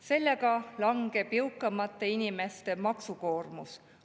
Sellega langeb jõukamate inimeste maksukoormus.